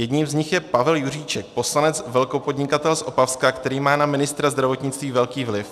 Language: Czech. Jedním z nich je Pavel Juříček - poslanec, velkopodnikatel z Opavska, který má na ministra zdravotnictví velký vliv.